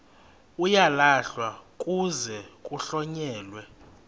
uyalahlwa kuze kuhlonyelwe